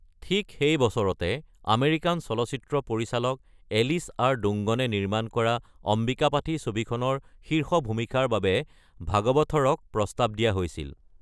ঠিক সেই বছৰতে, আমেৰিকান চলচ্চিত্ৰ পৰিচালক এলিছ আৰ. ডুংগনে নিৰ্মাণ কৰা অম্বিকাপাথী ছবিখনৰ শীৰ্ষ ভূমিকাৰ বাবে ভাগৱথৰক প্ৰস্তাৱ দিয়া হৈছিল।